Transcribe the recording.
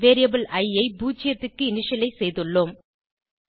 variable இ I 0 க்கு initialise செய்துள்ளோம்